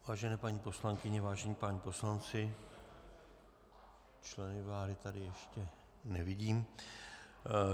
Vážené paní poslankyně, vážení páni poslanci - členy vlády tady ještě nevidím.